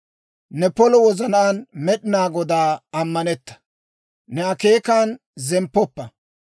Ne polo wozanaan Med'inaa Godaa ammanetta; ne akeekan zemppoppa.